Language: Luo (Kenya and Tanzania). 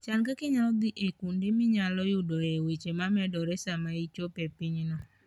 Chan kaka inyalo dhi e kuonde minyalo yudoe weche momedore sama ichopo e pinyno.